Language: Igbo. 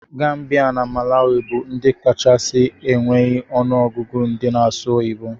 Gambia na malawi bu ndi kachasi enweghi onụ ọgụgụ ndi na asụ oyibo.